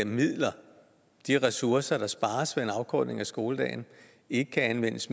midler de ressourcer der spares ved en afkortning af skoledagen ikke kan anvendes